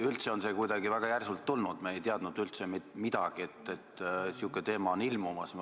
Üldse on see kuidagi väga järsult tulnud – me ei teadnud sugugi, et sihuke teema on ilmumas.